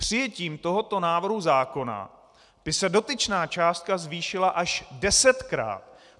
Přijetím tohoto návrhu zákona by se dotyčná částka zvýšila až desetkrát.